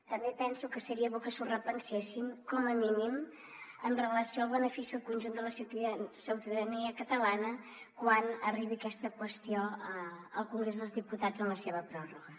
també penso que seria bo que s’ho repensessin com a mínim amb relació al benefici al conjunt de la ciutadania catalana quan arribi aquesta qüestió al congrés dels diputats en la seva pròrroga